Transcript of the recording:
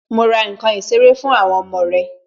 Ma ra nkan ìṣeré fún àwọn ọmọ rẹ